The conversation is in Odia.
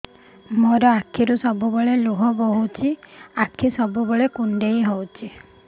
ମୋର ଆଖିରୁ ସବୁବେଳେ ଲୁହ ବୋହୁଛି ଆଖି ସବୁବେଳେ କୁଣ୍ଡେଇ ହଉଚି